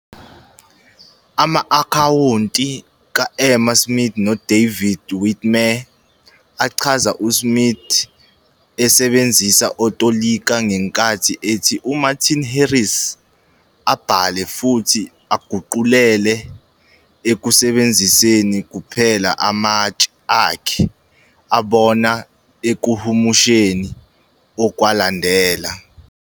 Ama-akhawunti ka-Emma Smith noDavid Whitmer achaza uSmith esebenzisa otolika ngenkathi ethi uMartin Harris abhale futhi aguqulele ekusebenziseni kuphela amatshe akhe abona ekuhumusheni okwalandela.